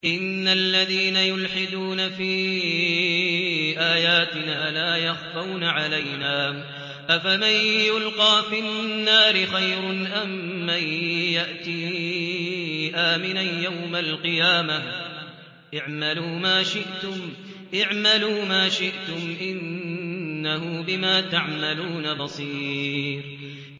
إِنَّ الَّذِينَ يُلْحِدُونَ فِي آيَاتِنَا لَا يَخْفَوْنَ عَلَيْنَا ۗ أَفَمَن يُلْقَىٰ فِي النَّارِ خَيْرٌ أَم مَّن يَأْتِي آمِنًا يَوْمَ الْقِيَامَةِ ۚ اعْمَلُوا مَا شِئْتُمْ ۖ إِنَّهُ بِمَا تَعْمَلُونَ بَصِيرٌ